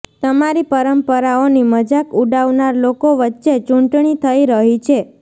તમારી પરંપરાઓની મજાક ઉડાવનાર લોકો વચ્ચે ચૂંટણી થઈ રહી છે